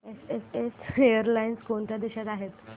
SAS airlines कोणत्या देशांसाठी आहे